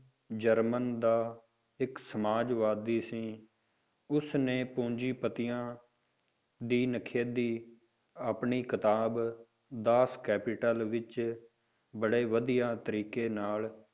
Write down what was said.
German ਦਾ ਇੱਕ ਸਮਾਜਵਾਦੀ ਸੀ ਉਸ ਨੇ ਪੂੰਜੀਪਤੀਆਂ ਦੀ ਨਿਖੇਧੀ ਆਪਣੀ ਕਿਤਾਬ ਦਾਸ ਕੈਪੀਟਲ ਵਿੱਚ ਬੜੇ ਵਧੀਆ ਤਰੀਕੇ ਨਾਲ